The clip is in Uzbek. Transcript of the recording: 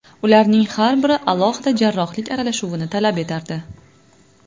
Ularning har biri alohida jarrohlik aralashuvini talab etardi.